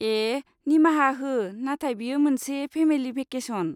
ए निमाहा हो, नाथाय बेयो मोनसे फेमेलि भेकेसन।